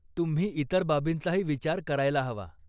तुम्ही इतर बाबींचाही विचार करायला हवा.